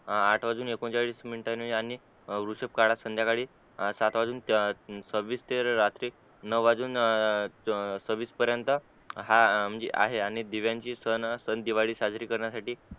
आठ वाजुन एकोणचाळीस मिनिटांनी आणि वृशभ काळात संद्याकाळी साथ वाजून सवीस ते रात्री नाव वाजुन ए ए सवीस पर्यंत हा म्हणजे आहे आणि दिव्यांचे सन असतात दिवाळी साजरी करण्यासाठी